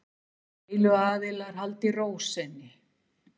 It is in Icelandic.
Deiluaðilar haldi ró sinni